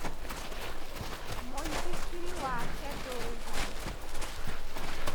Mũithikiri wake ndũrĩ ho.